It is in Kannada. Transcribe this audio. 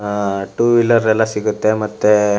ಆ ಟೂ ವೀಲರ್ ಎಲ್ಲ ಸಿಗುತ್ತೆ ಮತ್ತೆ --